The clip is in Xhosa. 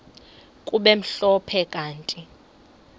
kube mhlophe kanti